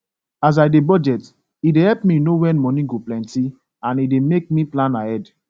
as i dey budget e dey help me know wen moni go plenty and e dey make me plan ahead